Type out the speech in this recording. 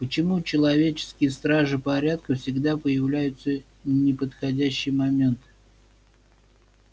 почему человеческие стражи порядка всегда появляются в неподходящий момент